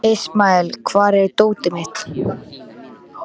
Ismael, hvar er dótið mitt?